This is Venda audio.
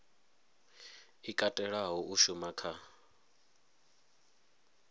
i katelaho u shuma kha